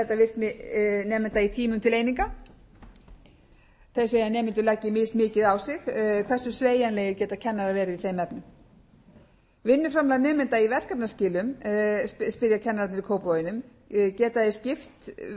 virkni nemenda í tímum til eininga þeir segja að nemendur leggi mismikið á sig hversu sveigjanlegir geta kennarar verið í þeim efnum vinnuframlag nemenda í verkefnaskilum spyrja kennararnir í kópavoginum geta þeir skipt við áfanga í til